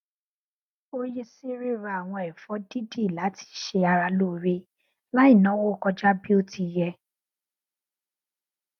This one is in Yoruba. ó yí sí ríra àwọn ẹfọ dídì láti ṣe ara lóore láì náwó kọjá bí ó ti yẹ